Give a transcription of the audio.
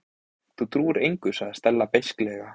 Þú trúir engu- sagði Stella beisklega.